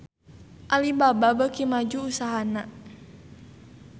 Alibaba beuki maju usahana